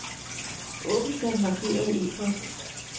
Åbn den markerede e-post.